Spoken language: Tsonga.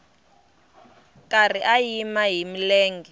karhi a yima hi milenge